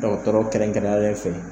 Dɔgɔtɔrɔ kɛrɛnkɛrɛnyalen fɛ.